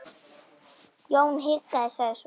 Jón hikaði, sagði svo